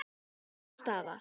Úrslit og staða